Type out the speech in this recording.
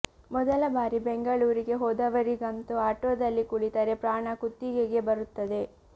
ಮೊದಲ ಬಾರಿ ಬೆಂಗಳೂರಿಗೆ ಹೋದವರಿಗಂತೂ ಆಟೊದಲ್ಲಿ ಕುಳಿತರೆ ಪ್ರಾಣ ಕುತ್ತಿಗೆಗೇ ಬರುತ್ತದೆ